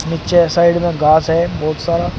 नीचे साइड में घास है बहुत सारा--